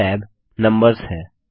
पहला tab numbers है